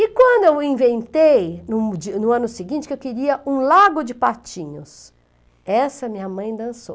E quando eu inventei, no dia no ano seguinte, que eu queria um lago de patinhos, essa minha mãe dançou.